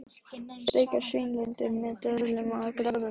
Steiktar svínalundir með döðlum og gráðaosti